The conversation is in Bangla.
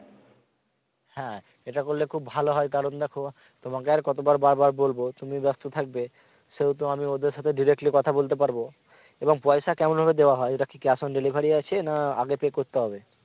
হ্যা এটা করলে খুব ভালো কারন দেখো তোমাকে আর কত বার বলব তুমি ব্যাস্ত থাকবে সেহেতু আমি ওদের সাথে directly কথা বলতে পারব এবং পয়সা কেমনভাবে দেয়া হয় এটা কি cash on delivery আছে না আগে pay করতে হবে?